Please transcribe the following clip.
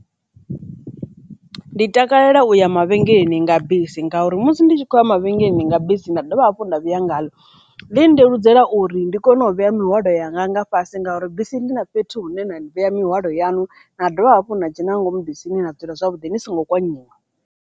Ndi takalela u ya mavhengeleni nga bisi ngauri musi ndi tshi khou ya mavhengeleni nga bisi nda dovha hafhu nda vhuya ngalo, ḽi nndeludzela uri ndi kone u vhea mihwalo yanga nga fhasi ngauri bisi ndi na fhethu hune na vhea mihwalo yanu na dovha hafhu nda dzhena nga ngomu bisini na dzula zwavhuḓi ni songo kanyiwa.